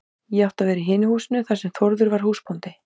Ég átti að vera í hinu húsinu þar sem Þórður var húsbóndi.